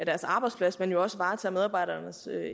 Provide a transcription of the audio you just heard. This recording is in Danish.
deres arbejdsplads men jo også varetager medarbejdernes